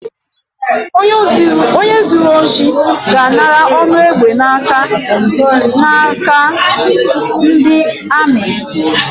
Onye zuru ọchị, ga-anara ọnụ egbe n’aka n’aka ndi amị